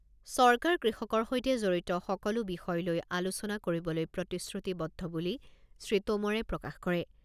চৰকাৰ কৃষকৰ সৈতে জড়িত সকলো বিষয় লৈ আলোচনা কৰিবলৈ প্ৰতিশ্ৰুতিবদ্ধ বুলি শ্ৰীটোমৰে প্ৰকাশ কৰে।